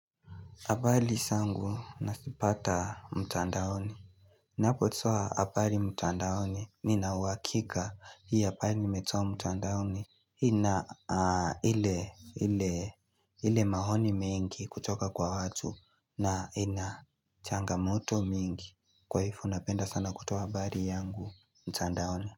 Habari zangu nazipata mtandaoni. Napotoa habari mtandaoni. Nina uhakika hii habari nimetoa mtandaoni ina ile maoni mengi kutoka kwa watu na inachanga moto mingi. Kwa hivyo napenda sana kutoa habari yangu mtandaoni.